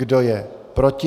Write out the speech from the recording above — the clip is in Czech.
Kdo je proti?